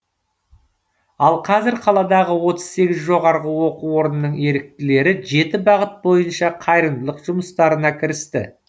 ал қазір қаладағы отыз сегіз жоғарғы оқу орнының еріктілері жеті бағыт бойынша қайырымдылық жұмыстарына кірісті